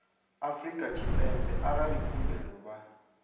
afrika tshipembe arali khumbelo vha